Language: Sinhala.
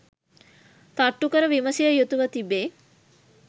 තට්ටු කර විමසිය යුතුව තිබේ